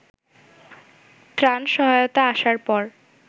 ত্রাণ সহায়তা আসার পর